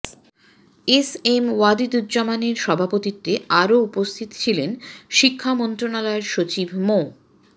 S M ওয়াহিদুজ্জামানের সভাপতিত্বে আরও উপস্থিত ছিলেন শিক্ষা মন্ত্রণালয়ের সচিব মো